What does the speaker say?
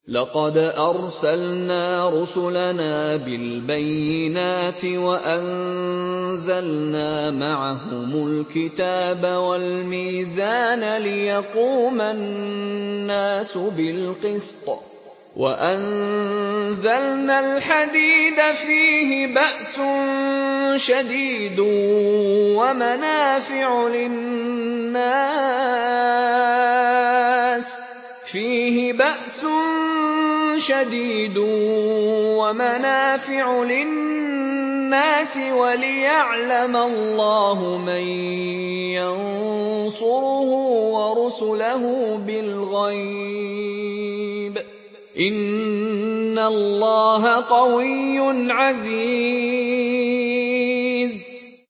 لَقَدْ أَرْسَلْنَا رُسُلَنَا بِالْبَيِّنَاتِ وَأَنزَلْنَا مَعَهُمُ الْكِتَابَ وَالْمِيزَانَ لِيَقُومَ النَّاسُ بِالْقِسْطِ ۖ وَأَنزَلْنَا الْحَدِيدَ فِيهِ بَأْسٌ شَدِيدٌ وَمَنَافِعُ لِلنَّاسِ وَلِيَعْلَمَ اللَّهُ مَن يَنصُرُهُ وَرُسُلَهُ بِالْغَيْبِ ۚ إِنَّ اللَّهَ قَوِيٌّ عَزِيزٌ